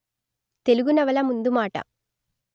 తెలుగు నవల ముందుమాట